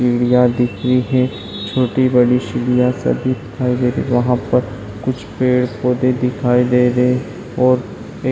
चिड़ियाँ दिख रही हैं छोटी बड़ी चिड़ियाँ सभी दिखाई दे रही यहाँ पर कुछ पेड़ पौधे दिखाई दे रहे और एक --